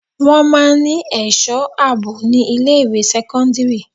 Wọn máa ń ní èso àbò ni ilé ìwé sẹ́kọ́ńdírì.